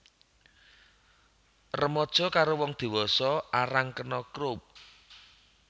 Remaja karo wong dewasa arang kena Croup